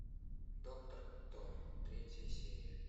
доктор кто третья серия